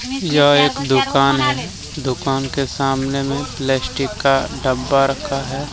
यह एक दुकान है दुकान के सामने में प्लास्टिक का डब्बा रखा है ।